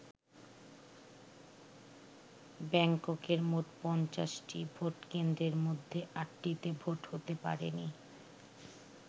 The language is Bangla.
ব্যাংককের মোট ৫০টি ভোটকেন্দ্রের মধ্যে আটটিতে ভোট হতে পারেনি।